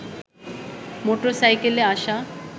motor সাইকেলে আসা